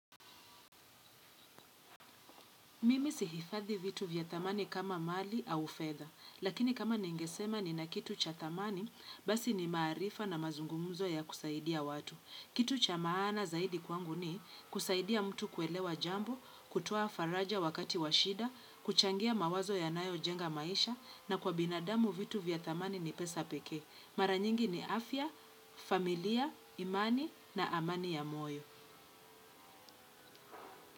Mimi si hifadhi vitu vya thamani kama mali au fedha, lakini kama ningesema ni na kitu cha thamani, basi ni maarifa na mazungumuzo ya kusaidia watu. Kitu cha maana zaidi kwangu ni kusaidia mtu kuelewa jambo, kutoa faraja wakati washida, kuchangia mawazo ya nayo jenga maisha na kwa binadamu vitu vya thamani ni pesa pekee. Maranyingi ni afya, familia, imani na amani ya moyo.